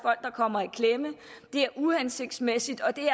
kommer i klemme det er uhensigtsmæssigt og det